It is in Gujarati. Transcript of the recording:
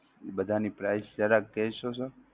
બધાની price જરા કહશો sir